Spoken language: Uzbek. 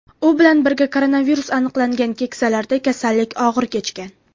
U bilan birga koronavirus aniqlangan keksalarda kasallik og‘ir kechgan.